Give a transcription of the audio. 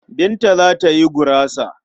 Binta za ta yi gurasa.